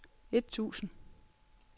et tusind